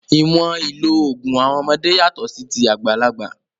Ìwọ̀n ìlò òògùn àwọn ọmọdé yàtọ̀ sí ti àgbàlagbà.